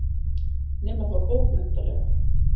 Nema þá bókmenntalega.